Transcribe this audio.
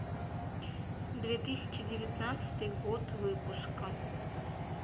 две тысячи девятнадцатый год выпуска